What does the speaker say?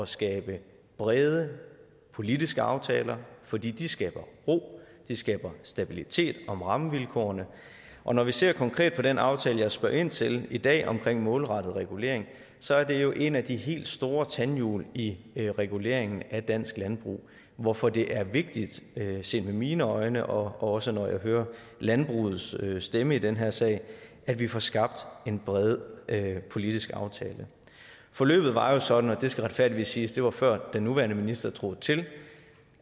skabe brede politiske aftaler fordi de skaber ro de skaber stabilitet om rammevilkårene og når vi ser konkret på den aftale jeg spørger ind til i dag omkring målrettet regulering så er det jo et af de helt store tandhjul i reguleringen af dansk landbrug hvorfor det er vigtigt set med mine øjne og også når jeg hører landbrugets stemme i den her sag at vi får skabt en bred politisk aftale forløbet var jo sådan og det skal retfærdigvis siges at det var før den nuværende minister trådte til